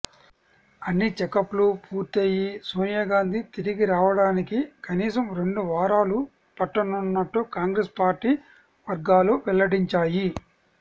అన్ని చెకప్లు పూర్తియ్యి సోనియాగాంధీ తిరిగిరావడానికి కనీసం రెండు వారాలు పట్టనున్నట్టు కాంగ్రెస్ పార్టీ వర్గాలు వెల్లడించాయి